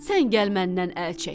Sən gəl məndən əl çək.